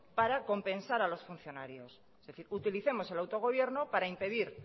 para compensar a los funcionarios es decir utilicemos el autogobierno para impedir